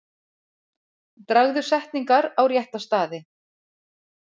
Dragðu setningar á rétta staði.